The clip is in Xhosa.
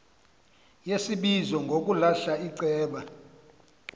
yesibizo ngokulahla iceba